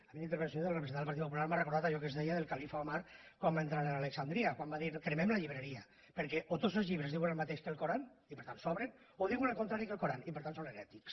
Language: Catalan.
a mi la intervenció de la representant del partit popular m’ha recordat allò que es deia del califa omar quan va entrar a alexandria quan va dir cremem la llibreria perquè o tots els llibres diuen el mateix que l’alcorà i per tant sobren o diuen el contrari que l’alcorà i per tant són herètics